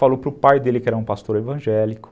Falou para o pai dele, que era um pastor evangélico.